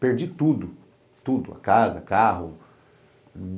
Perdi tudo, tudo, a casa, carro.